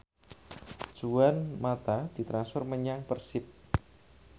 Juan mata ditransfer menyang Persib